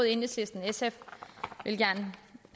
enhedslisten og sf vil gerne